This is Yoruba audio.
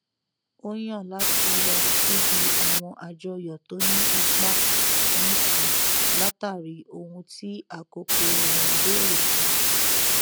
ó yàn láti lọ síbi àwọn àjọyọ tó ní ipa nìkan látàrí ohun tí àkókò rẹ n bèrè fún